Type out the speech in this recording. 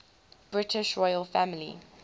british royal family